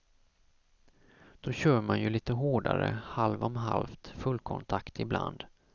Då kör man ju lite hårdare, halv om halvt fullkontakt ibland.